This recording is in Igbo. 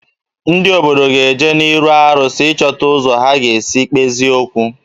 Ndị obodo ga-eje n'arụsị ịchọta ụzọ ha ga-esi kpezie okwu